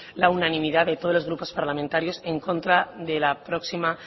la unanimidad de todos los grupos parlamentarios en contra de la próxima